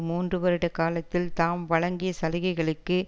மூன்று வருட காலத்தில் தாம் வழங்கிய சலுகைகளுக்கு